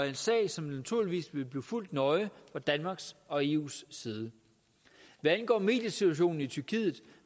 en sag som naturligvis vil blive fulgt nøje fra danmarks og eus side hvad angår mediesituationen i tyrkiet